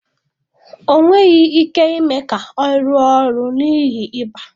Ọ nweghị ike ime ka ọ rụọ ọrụ n'ihi ịba